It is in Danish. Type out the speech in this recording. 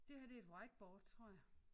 Det her det er et whiteboard tror jeg